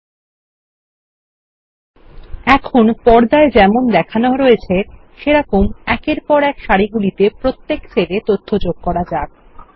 এখন পর্দায় যেমন দেখানো হয়েছে সেরকম একের পর এক সারিগুলিতে প্রত্যেক সেলে তথ্য যোগ করা যাক